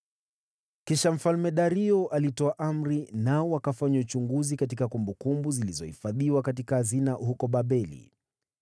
Kisha Mfalme Dario alitoa amri, nao wakafanya uchunguzi katika kumbukumbu zilizohifadhiwa katika hazina huko Babeli.